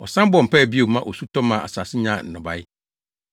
Ɔsan bɔɔ mpae bio maa osu tɔ maa asase nyaa nnɔbae.